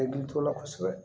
I t'o la kosɛbɛ